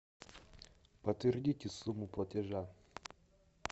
подтвердите сумму платежа